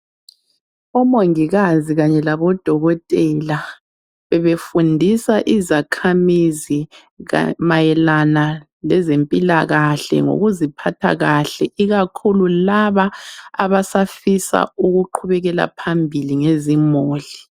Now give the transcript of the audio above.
Omongikazi kanye labodokotela befundisa izakhamizi mayelana ngezempilakahle ngokuziphatha kahle ikakhulu laba abasafisa ukuqhubekela phambili ngezimuli